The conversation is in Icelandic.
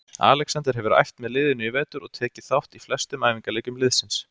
Alexander hefur æft með liðinu í vetur og tekið þátt í flestum æfingaleikjum liðsins.